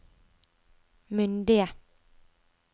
myndige